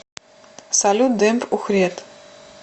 салют демб ухрет